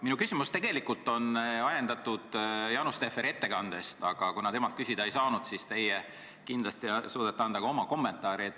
Minu küsimus on tegelikult ajendatud Jaanus Tehveri ettekandest, aga kuna ma temalt küsida ei saanud, siis teie kindlasti suudate anda ka oma kommentaari.